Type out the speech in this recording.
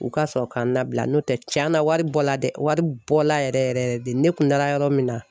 U ka sɔrɔ ka n labila, n'o tɛ cɛn na , wari bɔ la dɛ , wari bɔla yɛrɛ yɛrɛ de! Ne kun taara yɔrɔ min na.